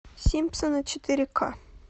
симпсоны четыре к